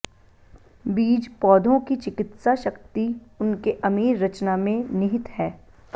बीज पौधों की चिकित्सा शक्ति उनके अमीर रचना में निहित है